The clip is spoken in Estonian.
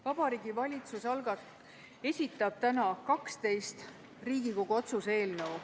Vabariigi Valitsus esitab täna 12 Riigikogu otsuse eelnõu.